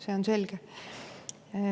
See on selge.